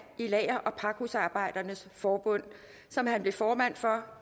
i lager og pakhusarbejdernes forbund som han blev formand for